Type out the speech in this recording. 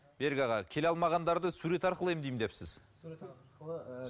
берік аға келе алмағандарды сурет арқылы емдеймін депсіз